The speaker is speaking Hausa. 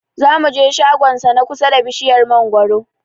Zamu je shagon sa na kusa ba bishiyar mangwaro